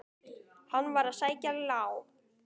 Hann var að sækja ljá.